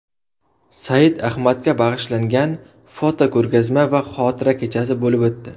Said Ahmadga bag‘ishlangan fotoko‘rgazma va xotira kechasi bo‘lib o‘tdi.